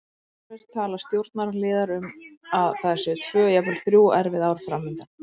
Sjálfir tala stjórnarliðar um að það séu tvö, jafnvel þrjú, erfið ár fram undan.